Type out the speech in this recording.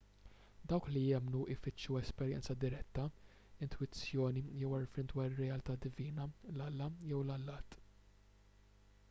dawk li jemmnu jfittxu esperjenza diretta intwizzjoni jew għarfien dwar ir-realtà divina/l-alla jew l-allat